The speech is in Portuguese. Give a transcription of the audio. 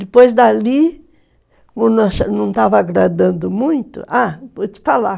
Depois dali, não estava agradando muito... Ah, vou te falar.